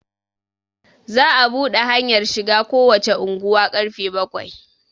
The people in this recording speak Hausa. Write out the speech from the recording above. za a buɗe hanyar shiga kowace unguwa karfe bakwai